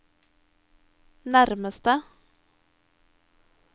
nærmeste